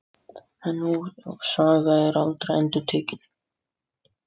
En sú saga var aldrei endurtekin.